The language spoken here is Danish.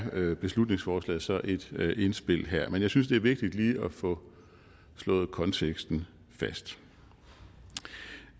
er beslutningsforslaget så et indspil jeg synes det er vigtigt lige at få slået konteksten fast